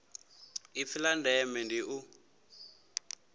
ipfi la ndeme ndi u